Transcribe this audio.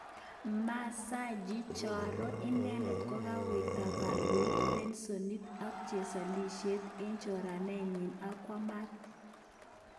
Mansaji choron idet kokawirta koloit pelsonit ak chesoleit eng choranenyin akwa maat.